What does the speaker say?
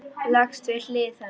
Leggst við hlið hennar.